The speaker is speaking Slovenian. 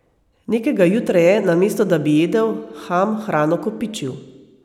Nekega jutra je, namesto da bi jedel, Ham hrano kopičil.